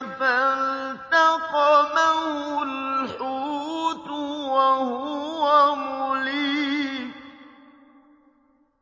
فَالْتَقَمَهُ الْحُوتُ وَهُوَ مُلِيمٌ